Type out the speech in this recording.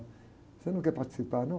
Você não quer participar, não?